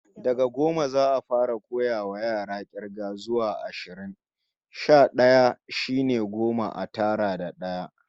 Daga goma, za'a fara koyawa yara k'irgar goma sha d'aya zuwa ashirin. Sha d'aya shine goma a tara da d'aya